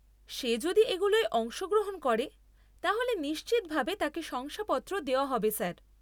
সে যদি এগুলোয় অংশগ্রহণ করে, তাহলে নিশ্চিতভাবে তাকে শংসাপত্র দেওয়া হবে স্যার।